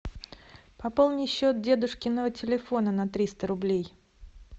пополни счет дедушкиного телефона на триста рублей